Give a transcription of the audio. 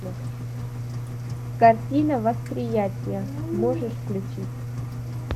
картина восприятия можешь включить